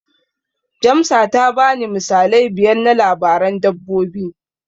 Jamsa ta bani misalai biyar na labaran dabbobi.